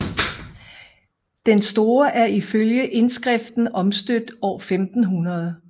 Den store er ifølge indskriften omstøbt år 1500